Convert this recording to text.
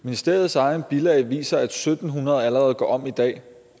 ministeriets egne bilag viser at syv hundrede allerede går om i dag